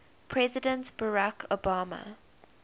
president barack obama